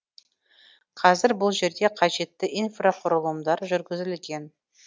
қазір бұл жерге қажетті инфрақұрылымдар жүргізілген